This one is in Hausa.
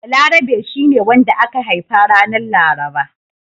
Balarabe shi ne wanda aka haifa ranar Laraba.